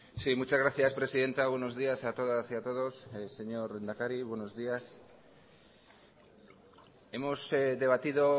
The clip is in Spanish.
sí muchas gracias presidenta buenos días a todas y a todos señor lehendakari buenos días hemos debatido